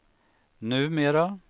numera